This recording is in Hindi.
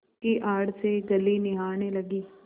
की आड़ से गली निहारने लगी